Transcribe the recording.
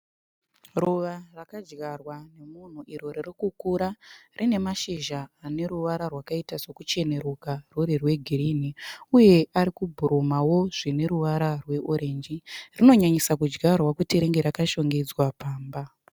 Ruva rakadyarwa kumadziro ririkura riine mazhizha akaita sekuchenuruka rwuri rwegirini uye ari kubhurumawo zveoranji ronyanyisa kudyarwa kunge rakashongedza pamba.